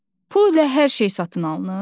Pul ilə hər şey satın alınır?